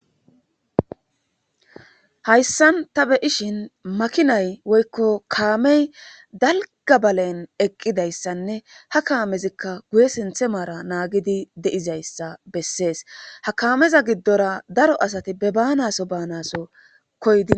hayssan ta be ishin makinay woykko kaamey dalgabalen eqqidayssanne ha kaamezikka guye sinthe maara naagidi de7izayssa bessees ha kaameza giddora daro asati be baanaso baanaso koyi